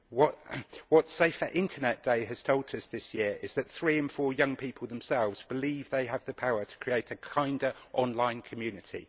What Safer Internet Day has taught us this year is that 3 in 4 young people themselves believe they have the power to create a kinder online community.